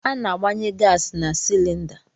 Ana-agbanye gaasị na silinda.